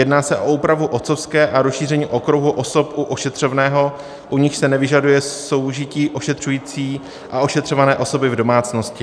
Jedná se o úpravu otcovské a rozšíření okruhu osob u ošetřovného, u nichž se nevyžaduje soužití ošetřující a ošetřované osoby v domácnosti.